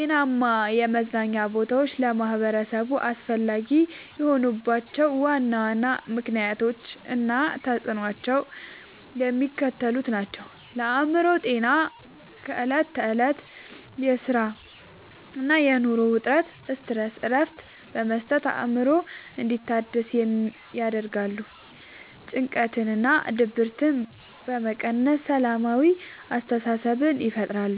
ጤናማ የመዝናኛ ቦታዎች ለማኅበረሰቡ አስፈላጊ የሆኑባቸው ዋና ዋና ምክንያቶች እና ተፅዕኖዎቻቸው የሚከተሉት ናቸው፦ ለአእምሮ ጤና፦ ከዕለት ተዕለት የሥራና የኑሮ ውጥረት (Stress) እረፍት በመስጠት አእምሮ እንዲታደስ ያደርጋሉ። ጭንቀትንና ድብርትን በመቀነስ ሰላማዊ አስተሳሰብን ይፈጥራሉ።